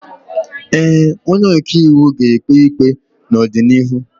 Ee, onye ọka iwu ga-ekpe ikpe n'ọdịnihu.